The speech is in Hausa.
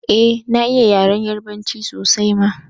Eh na iya yaren yarbanci sosai ma